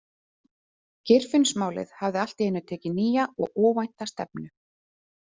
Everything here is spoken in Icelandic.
Geirfinnsmálið hafði allt í einu tekið nýja og óvænta stefnu.